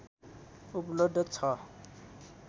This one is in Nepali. उपलब्ध छ